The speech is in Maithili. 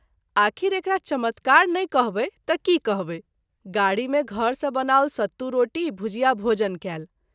आख़िर एकरा चमत्कार नहिं कहबै त’ की कहबै ? गाड़ी मे घर सँ बनाओल सतू रोटी भुजिया भोजन कएल।